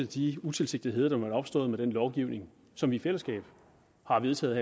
de utilsigtetheder der måtte være opstået med den lovgivning som vi i fællesskab har vedtaget